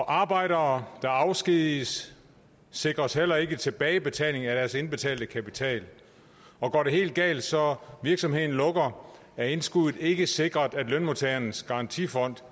arbejdere der afskediges sikres heller ikke tilbagebetaling af deres indbetalte kapital og går det helt galt så virksomheden lukker er indskuddet ikke sikret af lønmodtagernes garantifond